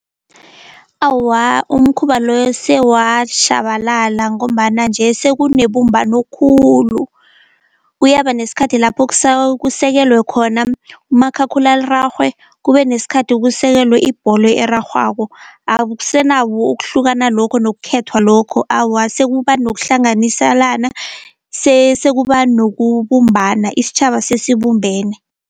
Awa umkhuba loyo sewashabalala, ngombana nje sekunebumbano khulu. Kuyaba nesikhathi lapho kusekelwe khona umakhakhulararhwe kube nesikhathi kusekelwe ibholo erarhwako. ukuhlukana lokho nokukhethwa lokho, awa sekuba nokuhlanganisalana sekuba nokubumbana isitjhaba sesibumbene.